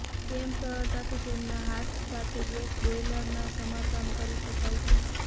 તમે સરળતાથી તેમના હાથ સાથે ગેસ બોઇલરના સમારકામ કરી શકાય છે